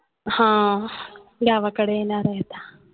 हां गावाकडे येणार आहे आता